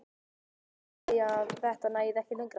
Var hún að segja að þetta næði ekki lengra?